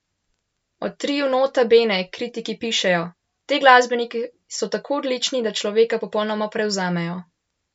O triu Nota Bene kritiki pišejo: "Ti glasbeniki so tako odlični, da človeka popolnoma prevzamejo.